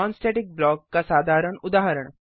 non static block का साधारण उदाहरण